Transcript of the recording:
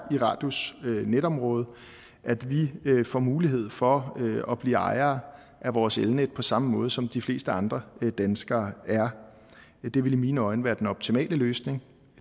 i radius netområde får mulighed for at blive ejere af vores elnet på samme måde som de fleste andre danskere er det vil i mine øjne være den optimale løsning